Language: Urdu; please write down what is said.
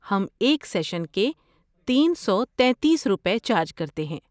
ہم ایک سیشن کے تین سوتیتیس روپے چارج کرتے ہیں